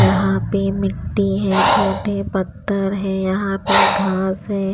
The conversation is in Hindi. यहाँ पे मिट्टी है छोटे पत्थर है यहाँ पे घास है।